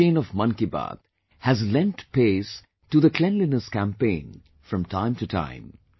Our chain of Mann Ki Baat has lent pace to the cleanliness campaign from time to time